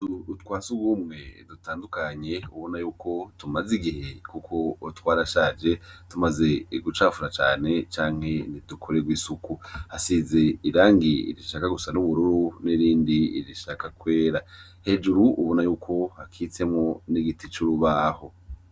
Utuzu twasugumwe dutandukanye ubonayuko tumazigihe kuko twarashaje tumaze gucafura cane canke ntidukorerwe isuku hasize irangi rishaka gusa nubururu nirindi rishaka kwera hejuru ubonayuko hakitsemwo nigiti curubaho